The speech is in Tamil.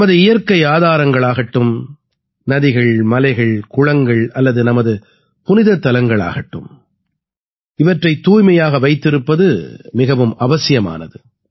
நமது இயற்கை ஆதாரங்களாகட்டும் நதிகள் மலைகள் குளங்கள் அல்லது நமது புனிதத் தலங்களாகட்டும் இவற்றைத் தூய்மையாக வைத்திருப்பது மிகவும் அவசியமானது